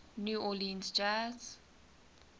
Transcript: new orleans jazz